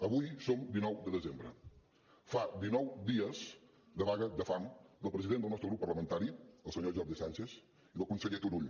avui som dinou de desembre fa dinou dies de vaga de fam del president del nostre grup parlamentari el senyor jordi sánchez i del conseller turull